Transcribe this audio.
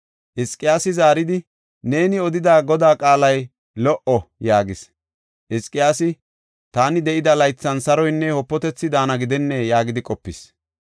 Hizqiyaasi zaaridi, “Neeni odida Godaa qaalay lo77o” yaagis. Hizqiyaasi, “Taani de7ida laythan saroynne wopatethi daana gidenne” yaagidi qopis.